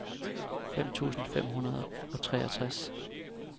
fem tusind fem hundrede og treogtres